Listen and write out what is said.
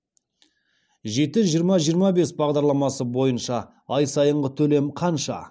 жеті жиырма жиырма бес бағдарламасы бойынша ай сайынғы төлем қанша